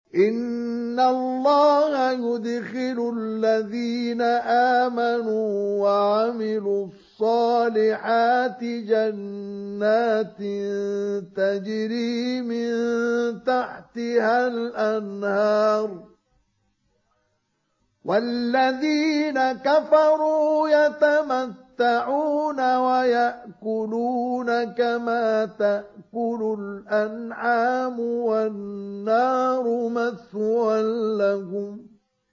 إِنَّ اللَّهَ يُدْخِلُ الَّذِينَ آمَنُوا وَعَمِلُوا الصَّالِحَاتِ جَنَّاتٍ تَجْرِي مِن تَحْتِهَا الْأَنْهَارُ ۖ وَالَّذِينَ كَفَرُوا يَتَمَتَّعُونَ وَيَأْكُلُونَ كَمَا تَأْكُلُ الْأَنْعَامُ وَالنَّارُ مَثْوًى لَّهُمْ